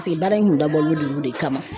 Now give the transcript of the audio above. Paseke baara in kun dabɔlen don olu de kama